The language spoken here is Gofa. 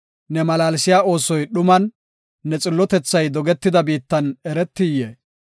Ne malaalsiya oosoy dhuman, ne xillotethay dogetida biittan eretiyee?